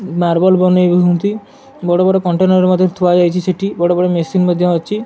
Marble ବନେଇ ବି ହୁଅନ୍ତି ବଡ ବଡ କଣ୍ଟେନର ମଧ୍ଯ ଥୁଆ ଯାଇଚି ସେଠି ବଡ ବଡ ମେସିନ ମଧ୍ଯ ଅଛି।